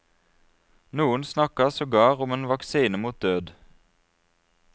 Noen snakket sogar om en vaksine mot død.